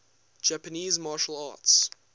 japanese martial arts